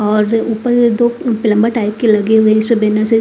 और ऊपर दो प्लंबर टाइप के लगे हुए हैं इसपे बैनर से--